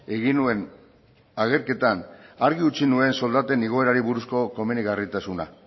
egin nuen agerketan argi utzi nuen soldaten igoerari buruzko komenigarritasuna